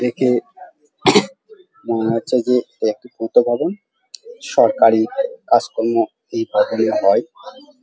দেখে মনে হচ্ছে যে একটি পূর্ত ভবন সরকারি কাজকর্ম এই ভবনে হয় ।